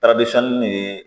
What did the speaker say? nin ye